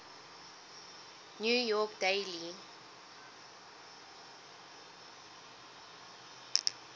new york daily